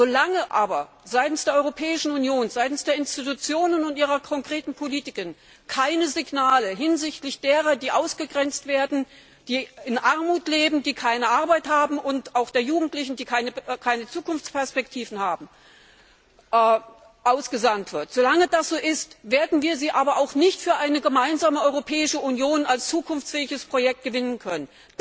Solange aber seitens der Europäischen Union, seitens der Institutionen und ihrer konkreten Politik keine Signale hinsichtlich derer, die ausgegrenzt werden, in Armut leben oder keine Arbeit haben, und auch der Jugendlichen, die keine Zukunftsperspektiven haben, ausgesandt werden, solange werden wir diese auch nicht für eine gemeinsame Europäische Union als zukunftsfähiges Projekt gewinnen können.